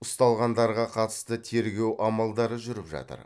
ұсталғандарға қатысты тергеу амалдары жүріп жатыр